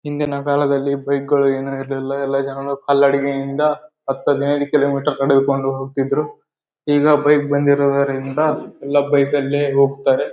ಹಿಂದಿನ ಕಾಲದಲ್ಲಿ ಬೈಕ್ಗಳು ಏನು ಇರಲಿಲ್ಲ ಎಲ್ಲಾ ಜನರು ಕಾಲ್ನಡಿಗೆಯಿಂದ ಹತ್ತು ಹದಿನೈದು ಕಿಲೋಮೀಟರು ನಡೆದುಕೊಂಡು ಹೋಗತಿದ್ರು ಈಗ ಬೈಕ್ ಬಂದಿರೋದ್ರಿಂದ ಎಲ್ಲಾ ಬೈಕ್ ಅಲ್ಲೇ ಹೋಗ್ತಾರೆ .